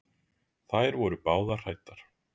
Þær voru báðar hræddar.